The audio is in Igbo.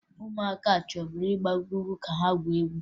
Ụmụaka chọburu ịgbago ugwu ka ha gwuo egwu